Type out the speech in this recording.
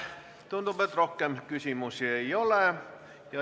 Tundub, et rohkem küsimusi ei ole.